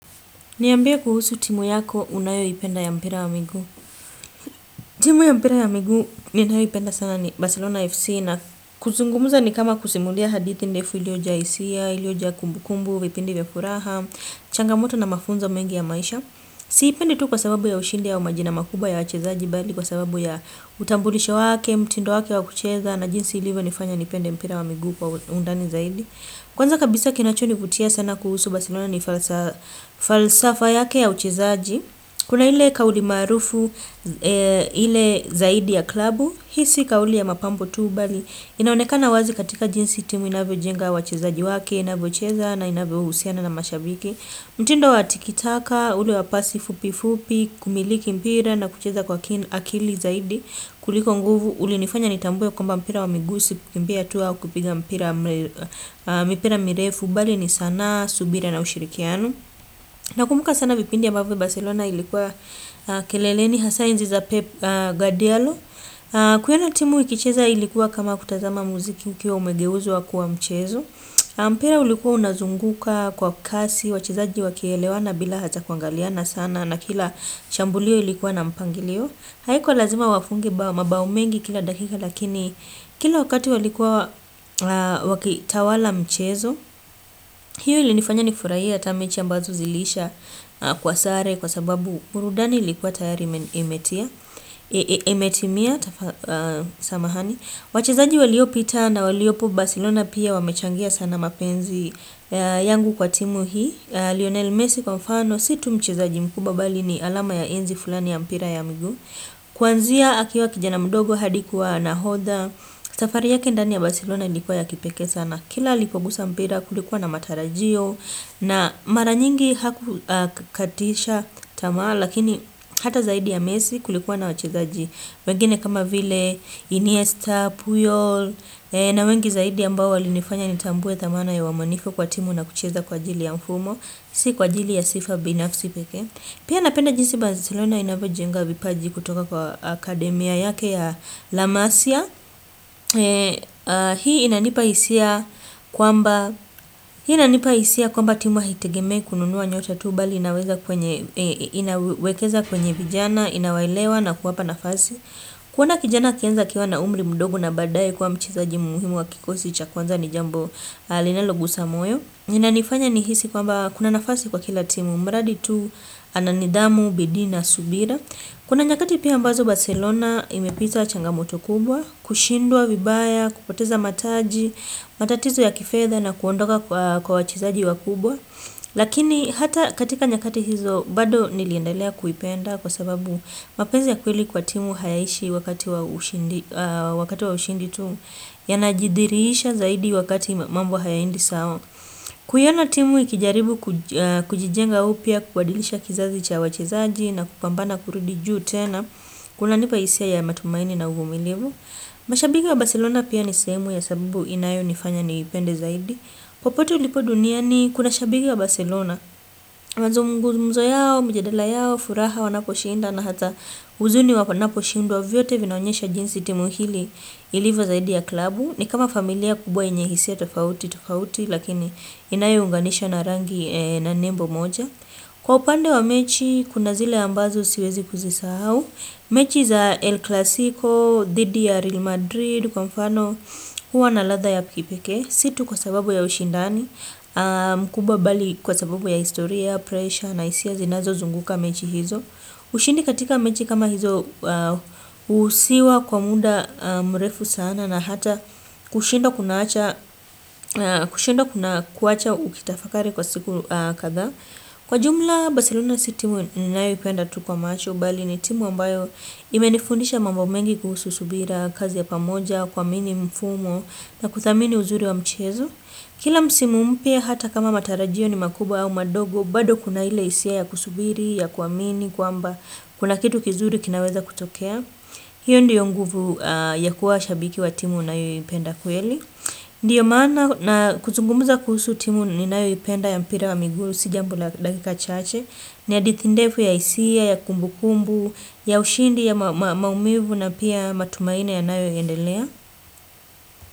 Niambie kuhusu timu yako unayoipenda ya mpira wa miguu. Timu ya mpira wa miguu ninayoipenda sana ni Barcelona FC na kuzungumza ni kama kusimulia hadithi ndefu iliyonja hisia, iliyo kumbu kumbukumbu, vipindi vya furaha, changamoto na mafunzo mengi ya maisha. Siipendi tu kwa sababu ya ushindi ya umajina makuba ya wachezaji bali kwa sababu ya utambulisha wake, mtindo wake wakucheza na jinsi ilivo nifanya nipende mpira wa miguu kwa undani zaidi. Kwanza kabisa kinacho nivutia sana kuhusu Bacelorna ni falsafa yake ya uchezaji Kuna hile kauli maarufu hile zaidi ya klabu Hii si kauli ya mapambo tu bali inaonekana wazi katika jinsi timu inavyojenga wachezaji wake Inavyocheza na inavyo husiana na mashabiki mtindo watikitaka ule wapasi fupi fupi Kumiliki mpira na kucheza kwa akili zaidi kuliko nguvu ulinifanya nitambue kwamba mpira wa miguu si kukiumbia tu au kupiga mpira mipira mirefu bali ni sanaa, subira na ushirikiano na kumbuka sana vipindi ambavyo Barcelona ilikuwa kelele ni hasaa enzi za peGadealo kuona timu ikicheza ilikuwa kama kutazama muziki ukiwa umegeuzo wakua mchezo mpira ulikuwa unazunguka kwa kasi wachezaji wakielewana bila hatakuangaliana sana na kila shambulio ilikuwa na mpangilio haikuwa lazima wafunge mabao mengi kila dakika lakini kila wakati walikuwa wakitawala mchezo hiyo ili nifanya nifurahie hii ata mechi ambazo zilisha kwa sare kwa sababu burudani ilikuwa tayari imetimia wachezaji waliopita na waliopo Barcelona pia wamechangia sana mapenzi yangu kwa timu hii Lionel Messi kwa mfano si tu mchezaji mkubwa bali ni alama ya enzi fulani ya mpira ya migu Kwanzia akiwa kijana mdogo hadi kuwa nahodha safari yake ndani ya Barcelona ilikuwa ya kipeke sana Kila alipokugusa mpira kulikuwa na matarajio na mara nyingi haku katisha tamaa Lakini hata zaidi ya mesi kulikuwa na wachezaji wengine kama vile Iniesta, Puyol na wengi zaidi ambao walinifanya nitambue thamani ya uaminifu kwa timu na kucheza kwa ajili ya mfumo Si kwa jili ya sifa binafsi peke Pia napenda jinsi Barcelona inavyoajenga vipaji kutoka kwa akademia yake ya Lamasia. Hii inanipa hisia kwamba timu haitegemei kununua nyota tu bali inawekeza kwenye vijana, inawelewa na kuwapa nafasi. Kuona kijana akianza akiwa na umri mdogo na badaye kuwa mchezaji muhimu wa kikosi cha kwanza ni jambo linaloguza moyo. Ina nifanya nihisi kwamba kuna nafasi kwa kila timu, mradi tu, ana nidhamu, bidii na subira. Kuna nyakati pia ambazo Barcelona imepita changamoto kubwa, kushindwa vibaya, kupoteza mataji, matatizo ya kifedha na kuondoka kwa wachezaji wakubwa. Lakini hata katika nyakati hizo bado niliendelea kuipenda kwa sababu mapenzi ya kweli kwa timu hayaishi wakati wa ushindi tu. Yanadhihirisha zaidi wakati mambo hayaendi sawa. Kuiona timu ikijaribu kujijenga upya, kuadilisha kizazi cha wachezaji na kupambana kurudi juu tena kunanipa hisia ya matumaini na uvumilivu. Mashabiki wa Barcelona pia ni sehemu ya sababu inayonifanya niipende zaidi. Popote ulipoduniani kuna shabiki wa Barcelona. Mazungumuzo yao, mjadala yao, furaha wanapo shinda na hata huzuni wapanapo shindwa vyote vinaonyesha jinsi timu hili ilivyo zaidi ya klabu ni kama familia kubwa yeye hisia tofauti tofauti Lakini inayounganisha na rangi na nimbo moja Kwa upande wa mechi kuna zile ambazo siwezi kuzisahaau mechi za El Clasico, Didi ya Real Madrid, kwa mfano huwa na ladha ya kipeke Si tu kwa sababu ya ushindani kubwa bali kwa sababu ya historia, pressure, na hisia zinazozunguka mechi hizo ushindi katika mechi kama hizo husiwa kwa muda mrefu sana na hata kushindwa kuna kuwacha ukitafakari kwa siku kadhaa Kwa jumla bacerlona si timu ninaipenda tu kwa macho bali ni timu ambayo imenifundisha mambo mengi kuhusu subira kazi ya pamoja kwa mini mfumo na kuthamini uzuri wa mchezo Kila msimu mpya hata kama matarajio ni makubwa au madogo bado kuna ile hisia ya kusubiri, ya kuamini, kwamba kuna kitu kizuri kinaweza kutokea hiyo ndiyo nguvu ya kuwa shabiki wa timu unayoipenda kweli Ndiyo maana na kuzungumuza kuhusu timu ninayoipenda ya mpira wa miguu Si jambo la dakika chache ni ya hadithi ndefu ya hisia, ya kumbukumbu, ya ushindi ya maumivu na pia matumaini yanayoendelea.